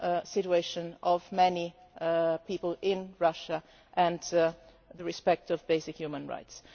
situation of many people in Russia and the respect for basic human rights.